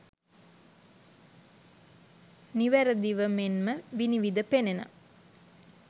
නිවැරදිව මෙන්ම විනිවිද පෙනෙන